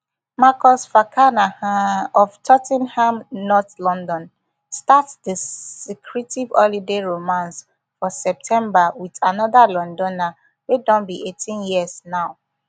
marcus fakana um of tot ten ham north london start di secretive holiday romance for september wit anoda lonAcceptedr wey don be eighteen years now